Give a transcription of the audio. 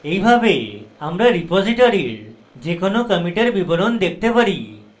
এইভাবে আমরা রিপোসিটরীর যে কোনো কমিটের বিবরণ দেখতে পারি